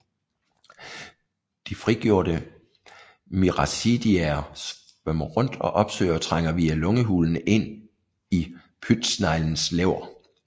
De frigjorte miracidiaer svømmer rundt og opsøger og trænger via lungehulen ind i pytsneglens lever